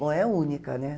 Bom, é única, né?